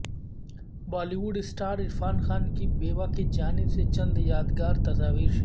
Bali would star Irfan Khan کی بیوہ کی جانب سے چند یادگار تصاویر شیئر